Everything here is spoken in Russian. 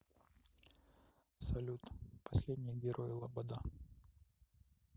салют последний герой лобода